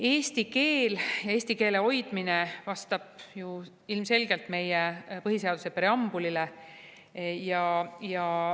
Eesti keel, eesti keele hoidmine vastab ilmselgelt meie põhiseaduse preambulile.